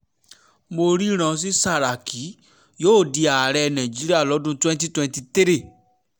mo ríran sí sàràkí yóò di ààrẹ nàìjíríà lọ́dún twenty twenty three